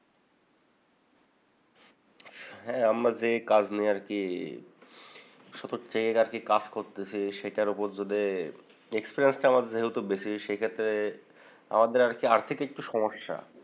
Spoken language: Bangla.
হ্যা, আমাদের কাজ নেই আরকি শত চেয়ে রাখি। কাজ করতেছি। সেটার উপর যদি experience টা আমার যেহেতু বেশি সেক্ষেত্রে আমাদের আরকি আর্থিক একটু সমস্যা।